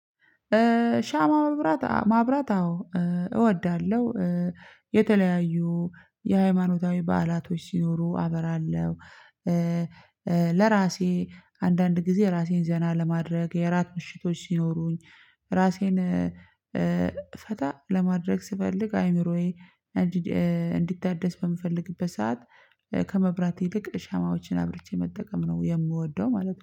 ሻማ መብራት ማብራት፤ አዎ እወዳለሁ። የተለያዩ የሃይማኖታዊ በዓላቶች ሲኖሩ አበራለሁ። ለራሴ አንዳንድ ጊዜ ራሴን ዘና ለማድረግ፤ የእራት ምሽቶች ሲኖሩኝ፤ እራሴን ፈታ ለማድረግ ስፈልግ፤ አእምሮዬ እንዲድ እንዲታደስ በምፈልግበት ሰዓት ከመብራት ይልቅ ሻማዎችን አብርቼ መጠቀም ነው የምወደው ማለት ነው።